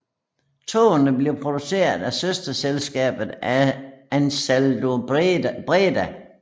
Togene blev produceret af søsterselskabet AnsaldoBreda